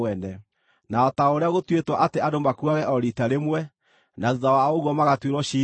Na o ta ũrĩa gũtuĩtwo atĩ andũ makuage o riita rĩmwe, na thuutha wa ũguo magatuĩrwo ciira-rĩ,